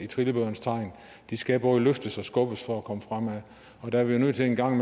trillebørens tegn de skal både løftes og skubbes for at komme fremad og der er vi nødt til en gang